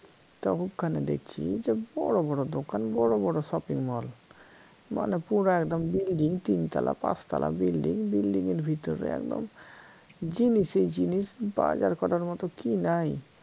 তা ওখানে দেখছি বড় বড় দোকান বড় বড় shopping mall মানে পুরা একদম building তিনতালা পাঁচ তালা building এর ভিতরে একদম জিনিসেই জিনিস বাজার করার মত কি নাই